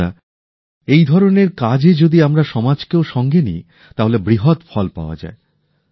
বন্ধুরা এই ধরণের কাজে যদি আমরা সমাজকেও সঙ্গে নিই তাহলে বৃহৎ ফল পাওয়া যায়